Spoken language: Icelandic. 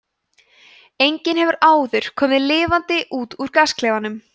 enginn hefur áður komið lifandi út úr gasklefanum